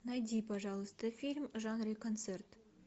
найди пожалуйста фильм в жанре концерт